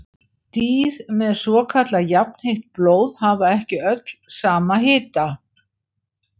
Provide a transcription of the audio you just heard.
Dýr með svokallað jafnheitt blóð hafa ekki öll sama hita.